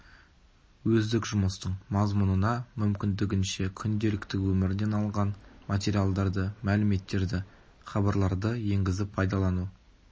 өздік жұмыстың мазмұнына мүмкіндігінше күнделікті өмірден алынған материалдарды мәліметтерді хабарларды енгізіп пайдалану